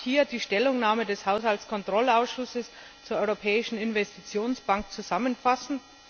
Ich darf hier die Stellungnahme des Haushaltskontrollausschusses zum Jahresbericht der Europäischen Investitionsbank zusammenfassen.